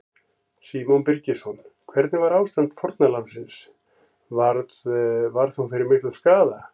Símon Birgisson: Hvernig var ástand fórnarlambsins, varð, varð hún fyrir miklum skaða?